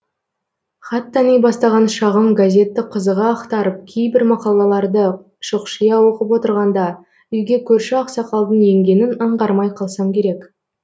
хат тани бастаған шағым газетті қызыға ақтарып кейбір мақалаларды шұқшия оқып отырғанда үйге көрші ақсақалдың енгенін аңғармай қалсам керек